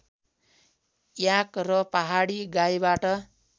याक र पहाडी गाईबाट